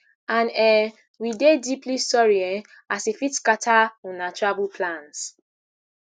and um we dey deeply sorry um as e fit scata una travel plans